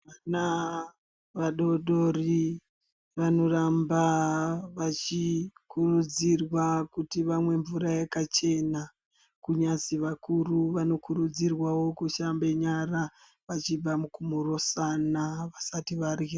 Vana vadodori vanoramba vachikurudzirwa kuti vamwe mvura yakachena. Kunyazi vakuru vanokurudzirwawo kushambe nyara vachibva mukumhorosana vasati vadyra.